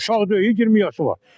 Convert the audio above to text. uşaq deyil, 20 yaşı var.